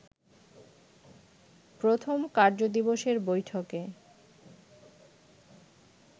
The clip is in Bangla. প্রথম কার্যদিবসের বৈঠকে